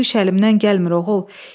Bu iş əlimdən gəlmir, oğul.